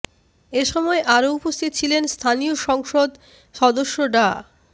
এ সময় আরো উপস্থিত ছিলেন স্থানীয় সংসদ সদস্য ডা